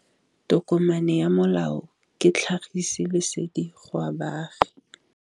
Tokomane ya molao ke tlhagisi lesedi go baagi.